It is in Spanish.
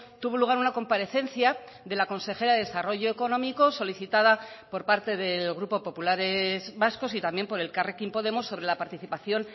tuvo lugar una comparecencia de la consejera de desarrollo económico solicitada por parte del grupo populares vascos y también por elkarrekin podemos sobre la participación